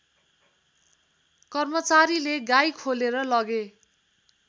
कर्मचारीले गाई खोलेर लगे